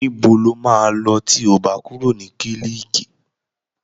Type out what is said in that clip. Níbo lo máa lọ tí o bá kúrò ní kílíìkì?